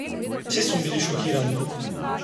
Vsi smo bili šokirani!